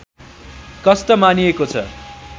कष्ट मानिएको छ